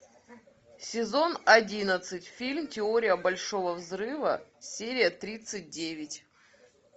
сезон одиннадцать фильм теория большого взрыва серия тридцать девять